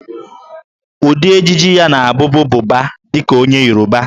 Ụdị ejiji ya na-abụbu Buba dị ka onye Yoruba